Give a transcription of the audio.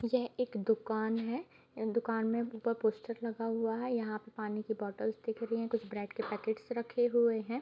यह एक दुकान है दुकान में ऊपर पोस्टर लगा हुआ है यहाँ पे पानी की बॉटल्स दिख रही हैं कुछ ब्रेड के पैकेट्स रखे हुए हैं।